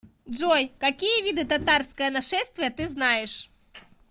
джой какие виды татарское нашествие ты знаешь